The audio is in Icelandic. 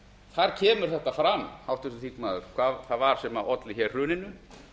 þar kemur þetta fram háttvirtur þingmaður hvað það var sem olli hér hruninu